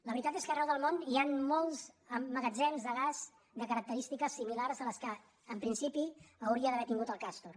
la veritat és que arreu del món hi ha molts magatzems de gas de característiques similars a les que en principi hauria d’haver tingut el castor